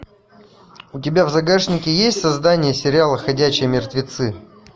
у тебя в загашнике есть создание сериала ходячие мертвецы